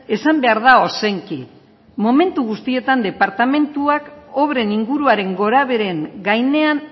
esan behar da ozenki momentu guztietan departamentuak obren inguruaren gorabeheren gainean